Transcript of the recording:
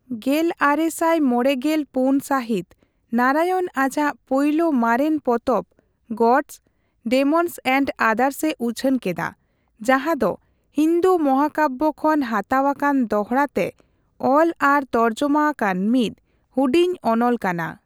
ᱜᱮᱞᱟᱨᱮᱥᱟᱭ ᱢᱚᱲᱮᱜᱮᱞ ᱯᱩᱱ ᱥᱟᱹᱦᱤᱛ ᱱᱟᱨᱟᱭᱚᱱ ᱟᱡᱟᱜ ᱯᱳᱭᱞᱳ ᱢᱟᱨᱮᱱ ᱯᱚᱛᱚᱵ ᱜᱚᱰᱥ, ᱰᱮᱢᱚᱱᱥ ᱮᱱᱰ ᱟᱫᱟᱨᱥ' ᱮ ᱩᱪᱷᱟᱹᱱ ᱠᱮᱫᱟ, ᱡᱟᱸᱦᱟ ᱫᱚ ᱦᱤᱱᱫᱩ ᱢᱚᱦᱟᱠᱟᱵᱵᱚ ᱠᱷᱚᱱ ᱦᱟᱛᱟᱣ ᱟᱠᱟᱱ ᱫᱚᱦᱲᱟᱛᱮ ᱚᱞ ᱟᱨ ᱛᱚᱨᱡᱚᱢᱟ ᱟᱠᱟᱱ ᱢᱤᱫ ᱦᱩᱰᱤᱧ ᱚᱱᱚᱞ ᱠᱟᱱᱟ ᱾